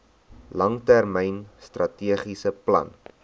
langtermyn strategiese plan